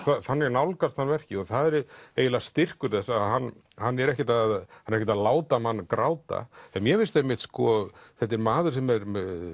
þannig nálgast hann verkið og það er eiginlega styrkur þess að hann hann er ekkert að ekkert að láta mann gráta mér finnst einmitt sko þetta er maður sem er